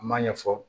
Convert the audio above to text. A m'a ɲɛfɔ